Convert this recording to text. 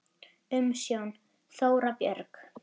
Umsjón: Þóra Björg.